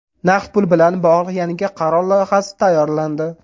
Naqd pul bilan bog‘liq yangi qaror loyihasi tayyorlandi.